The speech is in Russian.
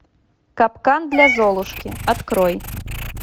капкан для золушки открой